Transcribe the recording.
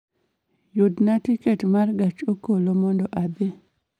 Yuna tiket ma gach okolomondo adhi